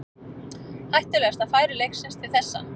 Hættulegasta færi leiksins til þessa.